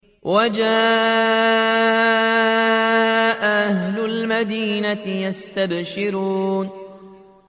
وَجَاءَ أَهْلُ الْمَدِينَةِ يَسْتَبْشِرُونَ